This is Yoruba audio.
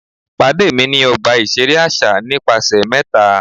Pade mi ni ọgba iṣere aṣa nipasẹ mẹta!